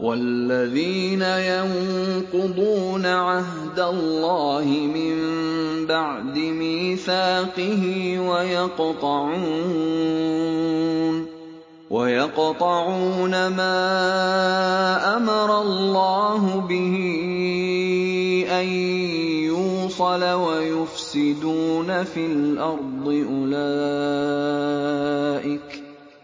وَالَّذِينَ يَنقُضُونَ عَهْدَ اللَّهِ مِن بَعْدِ مِيثَاقِهِ وَيَقْطَعُونَ مَا أَمَرَ اللَّهُ بِهِ أَن يُوصَلَ وَيُفْسِدُونَ فِي الْأَرْضِ ۙ